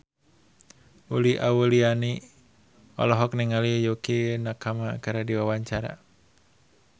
Uli Auliani olohok ningali Yukie Nakama keur diwawancara